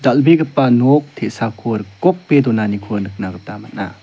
dal·begipa nok te·sako rikgope donaniko nikna gita man·a.